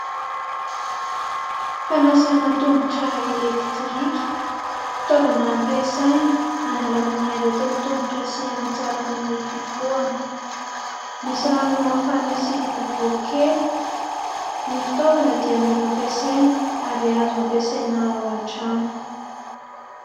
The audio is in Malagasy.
Fanasana tongotra ''électrique'' fitaovana ampiasaina hanalana ny aretin'ny tongotra sy hanatsarana ny fifohana, misy rano mafana sy boribory kely. Ny fitaovana dia mora ampiasaina ary azo ampiasaina ao an-trano.